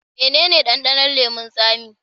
Mene ne dandanon leman tsami?